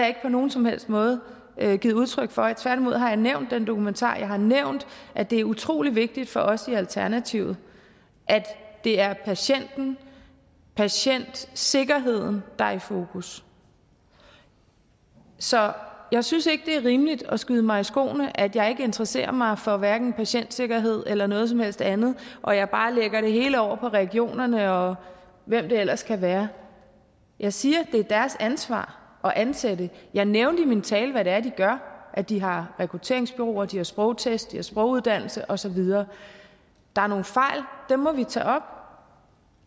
ikke på nogen som helst måde givet udtryk for tværtimod har jeg nævnt den dokumentar og jeg har nævnt at det er utrolig vigtigt for os i alternativet at det er patienten og patientsikkerheden der er i fokus så jeg synes ikke det er rimeligt at skyde mig i skoene at jeg ikke interesserer mig for hverken patientsikkerhed eller noget som helst andet og at jeg bare lægger det hele over på regionerne og hvem det ellers kan være jeg siger det er deres ansvar at ansætte jeg nævnte i min tale hvad det er de gør de har rekrutteringsbureauer de har sprogtest de har sproguddannelse og så videre der er nogle fejl og dem må vi tage op